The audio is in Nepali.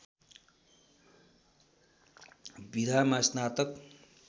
विधामा स्नातक